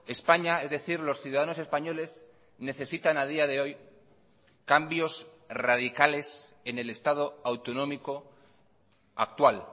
españa es decir los ciudadanos españoles necesitan a día de hoy cambios radicales en el estado autonómico actual